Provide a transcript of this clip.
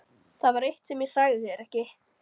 Það var eitt sem ég sagði þér ekki.